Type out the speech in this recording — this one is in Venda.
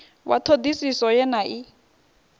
wa ṱhoḓisiso ye na i